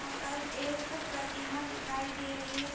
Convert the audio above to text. यहाँ पर यक प्रतिमा दिखाई दे रही है ज --